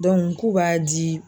k'u b'a di.